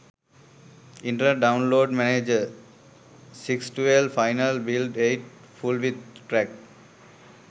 internet download manager 6 12 final build 8 full with crack